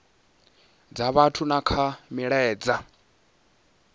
dza vhathu na kha milaedza